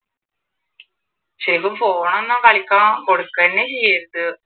ശരിക്കും ഫോണൊന്നും ഒന്നും കളിക്കാൻ കൊടുക്ക തന്നെ ചെയ്യരുത്